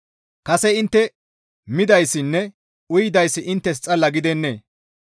Kase intte midayssinne uyidayssi inttes xalla gidennee?